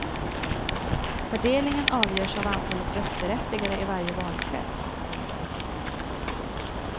Fördelningen avgörs av antalet röstberättigade i varje valkrets.